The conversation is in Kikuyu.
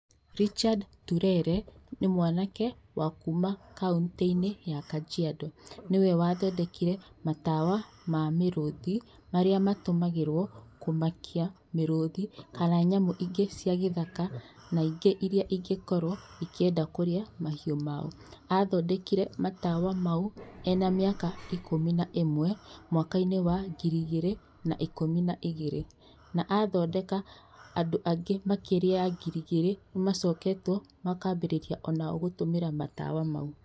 Richard Ntulele nĩ mwanake wa kuma kauntĩinĩ ya Kajiado. Niwe wa thondekire matawa wa mĩrũthi marĩa matũmagĩrwo kũmakia mĩrũthi kana nyamũ ingĩ cia gĩthaka na ingĩ irĩa ingĩkorwo ikĩenda kũrĩa mahiũ mao. Athondekire matawa mau ena mĩaka ikũmi na ũmwe mwakainĩ wa ngiri igĩrĩ na ikũmi na igĩrĩ na athondeka andũ angĩ makĩria ya ngiri igĩrĩ nĩmacoketwo makambĩrĩria onao gũtũmĩra matawa mau.